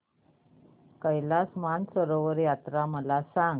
कैलास मानसरोवर यात्रा मला सांग